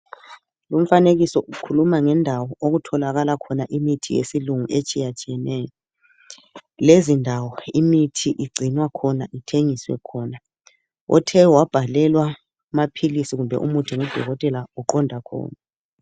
Lumfanekiso ukhuluma ngendawo okutholakala khona imithi yesilungu etshiyatshiyeneyo lezi ndawo imithi igcinwa khona ithengiswe khona othe wabhalelwa amaphilisi kumbe umuthi ngudokotela uqonda khona.